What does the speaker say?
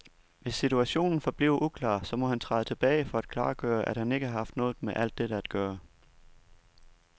Hvis situationen forbliver uklar, så må han træde tilbage for at klargøre, at han ikke har haft noget med alt dette at gøre.